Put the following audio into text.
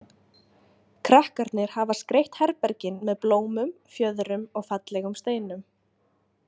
Krakkarnir hafa skreytt herbergin með blómum, fjöðrum og fallegum steinum.